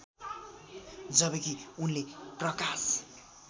जबकि उनले प्रकाश